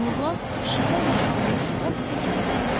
Nurla Şikarıyı almış, ov iti kimi gedirdi.